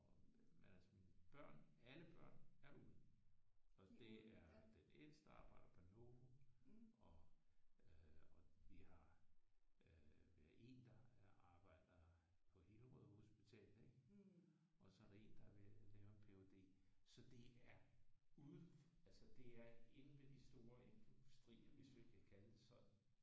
Og men altså mine børn alle børn er ude. Og det er den ældste arbejder på Novo og øh og vi har øh vi har en der arbejder på Hillerød hospital ik? Og så er der en der er ved at lave en ph.d. Så det er ude altså det er inde ved de store industrier hvis vi kan kalde det sådan